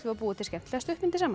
að búa til skemmtilega stuttmyndir saman